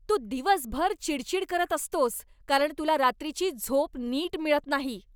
तू दिवसभर चिडचिड करत असतोस कारण तुला रात्रीची झोप नीट मिळत नाही.